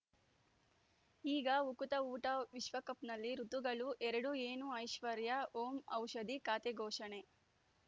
ಈಗ ಉಕುತ ಊಟ ವಿಶ್ವಕಪ್‌ನಲ್ಲಿ ಋತುಗಳು ಎರಡು ಏನು ಐಶ್ವರ್ಯಾ ಓಂ ಔಷಧಿ ಖಾತೆ ಘೋಷಣೆ